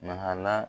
Mahala